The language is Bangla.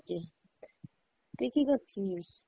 তুই কী করছিলিস?